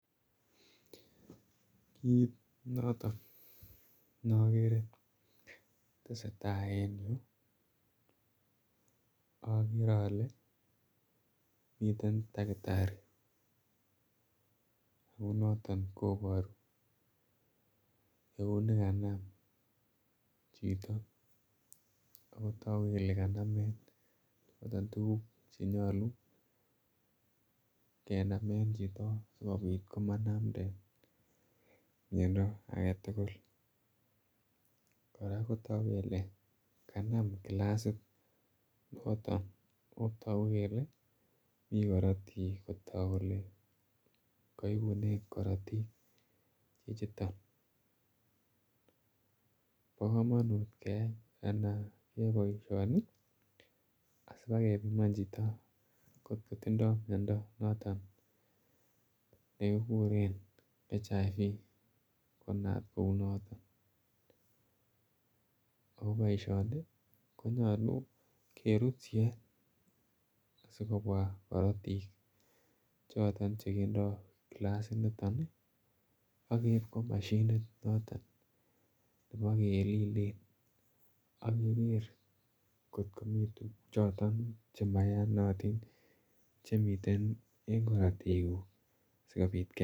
Kiit notok ne akere ne tese tai en yu akere ele miten dakitari. Kou noton koparu kou ni kanam chito ako tagu kole kanamen choton tuguk che nyalu chenamen chito sikopit ko manamden miondo age tugul. Kora ko tagu kele kanam kilasit noton ne tagu kole mi karatiik, kotak kole kaipunen karatiik yuton. Pa kamanut keyai poishoni asipakeminan chito ngot ko tindai miondo noton ne kikure HIV konam kou notok. Ako poishoni ko nyalu kerut siet asikopwa karatik choton che kindai klasiniton i, ak keip kopa mashinit noton nepa kelile ak keker ngot komi tuguk chotok ma iyanatin che miten en karatikuk asikopit kenai.